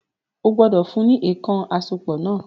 O gbọ́dọ̀ fún ní “èèkàn àsopọ̀” náà